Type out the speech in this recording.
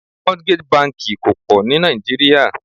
Mortgage banki kò pọ̀ ní Naijiria.